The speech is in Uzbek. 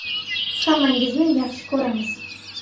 “Hammangizni yaxshi ko‘ramiz”.